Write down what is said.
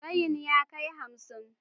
Tsayin ya kai hamsin